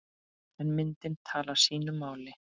En myndin talar sínu máli.